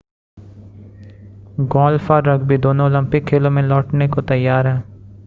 golf और rugby दोनों Olympic खेलों में लौटने को तैयार हैं